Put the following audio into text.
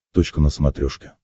точка на смотрешке